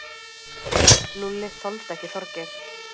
Lúlli þoldi ekki Þorgeir.